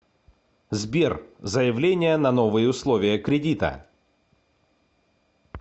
сбер заявление на новые условия кредита